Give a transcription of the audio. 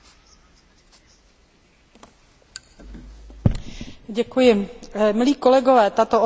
Tato otázka na Komisi od poslanců levice je, jak se říká, mimo mísu, tedy nesmyslná.